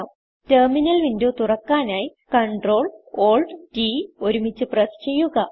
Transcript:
terminal window തുറക്കാനായി Ctrl Alt T ഒരുമിച്ച് press ചെയ്യുക